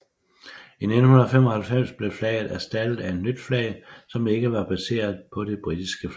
I 1995 blev flaget erstattet af et nyt flag som ikke var baseret på det britiske flag